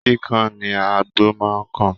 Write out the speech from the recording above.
Kíkan ni àgbò máa ń kàn